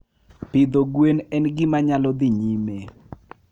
Pidho gwen en gima nyalo dhi nyime.